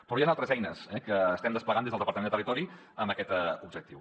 però hi han altres eines que estem desplegant des del departament de territori amb aquest objectiu